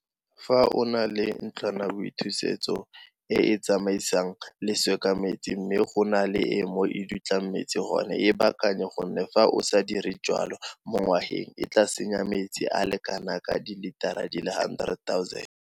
Fa o na le ntlwanaboithusetso e e tsamaisang leswe ka metsi mme go na le mo e dutlang metsi gone, e baakanye gonne fa o sa dire jalo mo ngwageng e tla senya metsi a le kanaka dilitara di le 100 000.